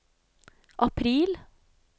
april